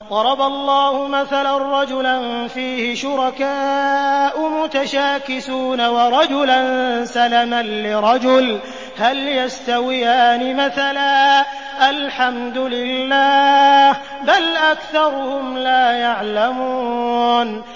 ضَرَبَ اللَّهُ مَثَلًا رَّجُلًا فِيهِ شُرَكَاءُ مُتَشَاكِسُونَ وَرَجُلًا سَلَمًا لِّرَجُلٍ هَلْ يَسْتَوِيَانِ مَثَلًا ۚ الْحَمْدُ لِلَّهِ ۚ بَلْ أَكْثَرُهُمْ لَا يَعْلَمُونَ